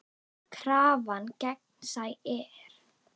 Krafan gegnsæ er.